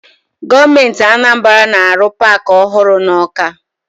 Gọọmenti Anambara na-arụ paakị ọhụrụ na Ọka.